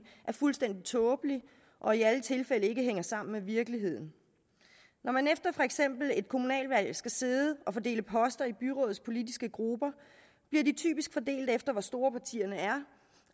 er fuldstændig tåbelig og i alle tilfælde ikke hænger sammen med virkeligheden når man for eksempel efter et kommunalvalg skal sidde og fordele poster i byrådets politiske grupper bliver de typisk fordelt efter hvor store partierne er